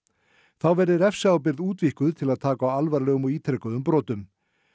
þá verði refsiábyrgð útvíkkuð til að taka á alvarlegum og ítrekuðum brotum